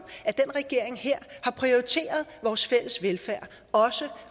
at den her regering har prioriteret vores fælles velfærd også